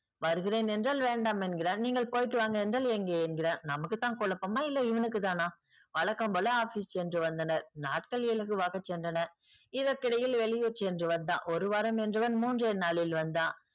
வருகிறேன் என்றால் வேண்டாம் என்கிறான். நீங்கள் போயிட்டு வாங்க என்றால் எங்கே எங்கிறான். நமக்கு தான் குழப்பமா இல்லை இவனுக்கு தானா? வழக்கம் போல office சென்று வந்தனர். நாட்கள் இலகுவாக சென்றன. இதற்கிடையில் வெளியூர் சென்று வந்தான். ஒரு வாரம் என்றவன் மூன்றே நாளில் வந்தான்.